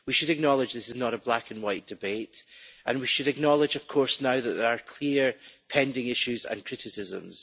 We should acknowledge that this is not a black and white debate and we should acknowledge, of course, that are now clear and pending issues and criticisms.